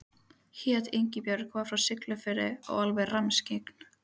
Hét Ingibjörg, var frá Siglufirði og alveg rammskyggn.